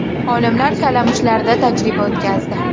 Olimlar kalamushlarda tajriba o‘tkazdi.